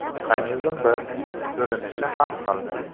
Mexanizm bir, ko‘rinish har xil.